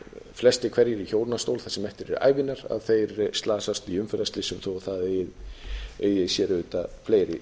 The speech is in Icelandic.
flestir hverjir í hjólastól það sem eftir er ævinnar þeir slasast í umferðarslysum þó það eigi sér auðvitað fleiri